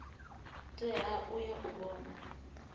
tea u ya u vhona